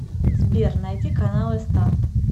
сбер найди каналы старт